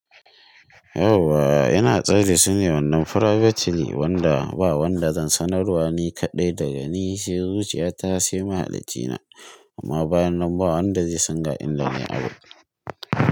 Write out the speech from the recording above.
Yauwa ina tsaida su ne wannan privately wanda ba wanda zan sanar wa ni kaɗai daga ni sai zuciya ta sai mahalacina. Amma bayan nan, ba wanda zai san ga inda nayi abun.